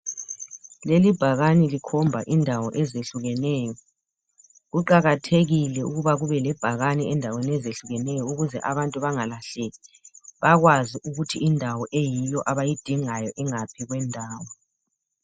Leli bhakani likhomba indawo ezehlukeneyo. Kuqakathekile ukuba kube lebhakani endaweni ezehlukeneyo ukuze abantu bangalahleki. Bakwazi ukuthi indawo eyiyo abayidingayo ingaphi kwendawo.